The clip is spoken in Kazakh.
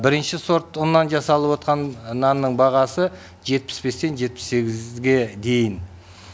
бірінші сорт ұннан жасалып отқан нанның бағасы жетпіс бестен жетпіс сегізге дейін